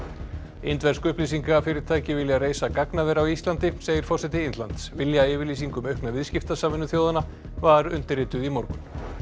indversk vilja reisa gagnaver á Íslandi segir forseti Indlands viljayfirlýsing um aukna þjóðanna var undirrituð í morgun